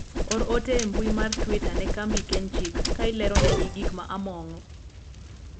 or ote e mbui mar twita ne kambi kenchik ka ilerone gi gik ma amon'go